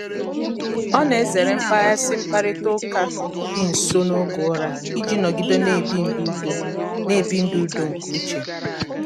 ọ na-ezere mkpaghasị mkparịta ụka dị nso n'oge ụra iji nọgide na-ebi ndu udo na-ebi ndu udo nke uche.